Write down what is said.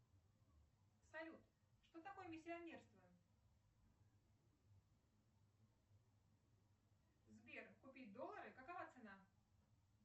салют что такое миссионерство сбер купить доллары какова цена